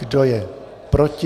Kdo je proti?